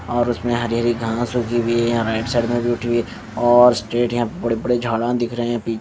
और उसमें हरी-हरी घास उगी हुई हैं राइट साइड में भी उठी हुई है और स्ट्रेट यहां बड़े-बड़े झाड़ा दिख रहे हैं पी --